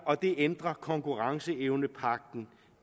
og det ændrer konkurrenceevnepagten